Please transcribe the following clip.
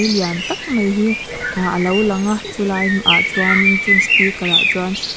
lian tak mai hi ahh a lo lang a chulaiah chuan chung speaker ah chuan--